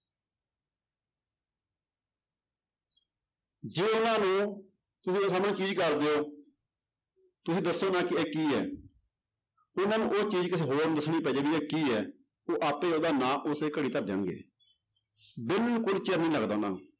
ਜੇ ਉਹਨਾਂ ਨੂੰ ਸਾਹਮਣੇ ਦਿਓ ਤੁਸੀਂ ਦੱਸੋ ਨਾ ਕਿ ਇਹ ਕੀ ਹੈ ਉਹਨਾਂ ਨੂੰ ਉਹ ਚੀਜ਼ ਕਿਸੇ ਹੋਰ ਨੂੰ ਦੱਸਣੀ ਪੈ ਜਾਏ ਵੀ ਇਹ ਕੀ ਹੈ, ਉਹ ਆਪੇ ਉਹਦਾ ਨਾਂ ਉਸੇ ਘੜੀ ਧਰ ਦੇਣਗੇ, ਬਿਲਕੁਲ ਚਿਰ ਨੀ ਲੱਗਦਾ ਉਹਨਾਂ ਨੂੰ।